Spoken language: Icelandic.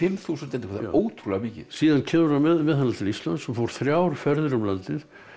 þúsund eintökum það er ótrúlega mikið síðan kemur hann með hana til Íslands og fór þrjár ferðir um landið